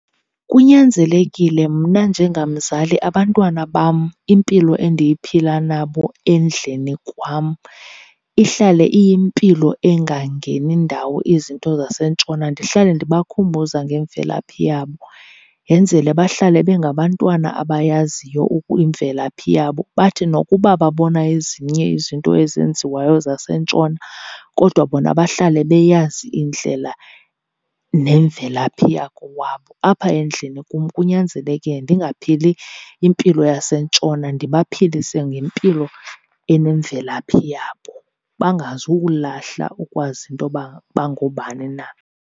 Kunyanzelekile mna njengamzali abantwana bam impilo endiyiphila nabo endlini kwam ihlale iyimpilo engangeni ndawo izinto zaseNtshona ndihlale ndibakhumbuza ngemvelaphi yabo. Yenzele bahlale bengabantwana abayaziyo imvelaphi yabo, bathi nokuba babona ezinye izinto ezenziwayo zaseNtshona kodwa bona bahlale beyazi indlela nemvelaphi yakowabo. Apha endlini kum kunyanzeleke ndingaphili impilo yaseNtshona, ndibaphilise ngempilo enemvelaphi yabo bangazuwulahla ukwazi into yoba bangobani na.